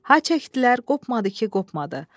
Ha çəkdilər, qopmadı ki, qopmadı.